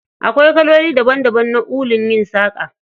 Akwai kaloli daban daban na ulun yin saƙa.